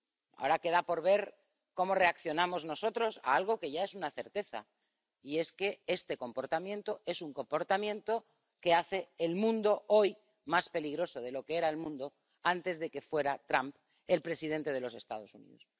Ahora queda por ver cómo reaccionamos nosotros ante algo que ya es una certeza que este comportamiento es un comportamiento que hace que el mundo sea hoy más peligroso de lo que era antes de que Trump fuera el presidente de los Estados Unidos.